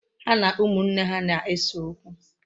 Ha na ụmụnne ha na-ese okwu.